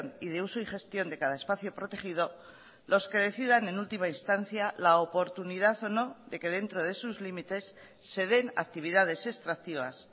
y de uso y gestión de cada espacio protegido los que decidan en última instancia la oportunidad o no de que dentro de sus límites se den actividades extractivas